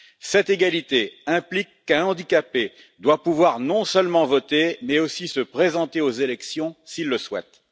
Cette égalité implique qu'un handicapé doive pouvoir, non seulement voter, mais aussi se présenter aux élections, s'il le souhaite.